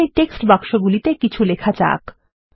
এখন এই টেক্সট বাক্সগুলিকে কিছু লেখা যাক